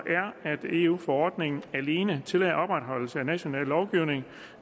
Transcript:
er at eu forordningen alene tillader opretholdelse af den nationale lovgivning